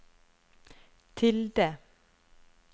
tilde